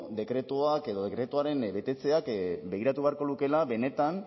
dekretuak edo dekretuaren betetzeak begiratu beharko lukeela benetan